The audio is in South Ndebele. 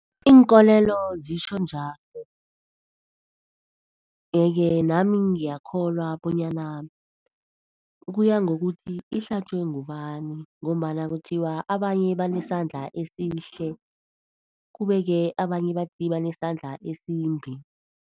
Iinkolelo zitjho njalo yeke nami ngiyakholwa bonyana kuya ngokuthi ihlatjwe ngubani ngombana kuthiwa, abanye banesandla esihle kube-ke abanye bathi banesandla esimbi.